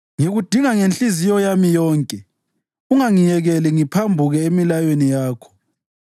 Ngikudinga ngenhliziyo yami yonke; ungangiyekeli ngiphambuke emilayweni yakho.